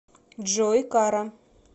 джой кара